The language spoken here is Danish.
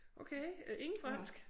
Okay øh ingen fransk